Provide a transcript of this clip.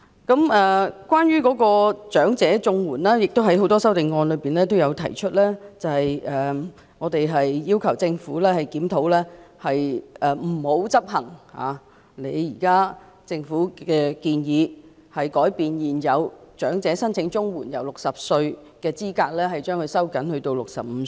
有關長者綜援，正如很多修正案也提出，我們要求政府不要執行現時的建議，將現時申請長者綜援的合資格年齡由60歲收緊至65歲。